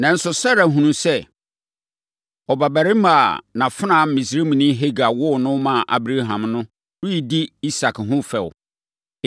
Nanso, Sara hunuu sɛ, ɔbabarima a nʼafenawa Misraimni Hagar woo no maa Abraham no redi Isak ho fɛ.